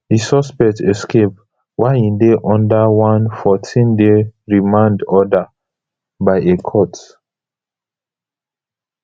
di suspect escape while e dey under onefourteenday remand order by a court